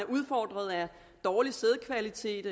udfordret af dårlig sædkvalitet